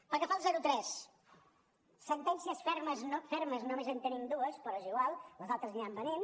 pel que fa al zero tres sentències fermes fermes només en tenim dues però és igual les altres aniran venint